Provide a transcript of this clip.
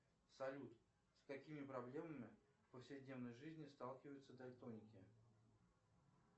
салют с какими проблемами в повседневной жизни сталкиваются дальтоники